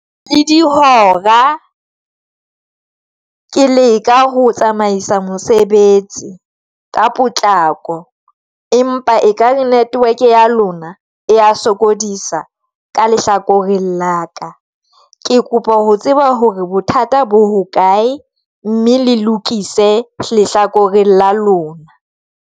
Le dihora ke leka ho tsamaisa mosebetsi ka potlako, empa e kare network ya lona ya sokodisa ka lehlakoreng la ka, ke kopa ho tseba hore bothata bo hokae, mme le lokise lehlakoreng la lona.